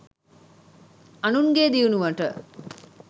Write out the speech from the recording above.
අනුන්ගේ දියුණුවට